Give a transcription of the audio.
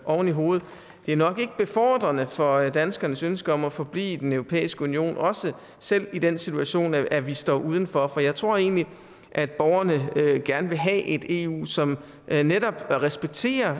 oven i hovedet nok ikke er befordrende for danskernes ønske om at forblive i den europæiske union også selv i den situation at vi står uden for for jeg tror egentlig at borgerne gerne vil have et eu som netop respekterer